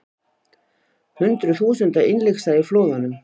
Hundruð þúsunda innlyksa í flóðunum